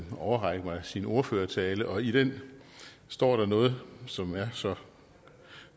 overrække mig sin ordførertale og i den står der noget som er så